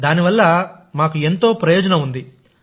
దాని వల్ల మాకు ఎంతో ప్రయోజనం ఉంది